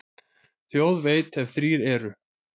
Þjóð veit, ef þrír eru.